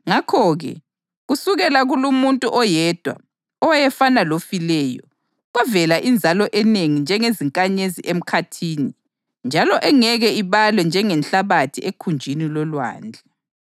Ngakho-ke, kusukela kulumuntu oyedwa, owayefana lofileyo, kwavela inzalo enengi njengezinkanyezi emkhathini njalo engeke ibalwe njengenhlabathi ekhunjini lolwandle.